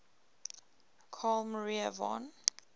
carl maria von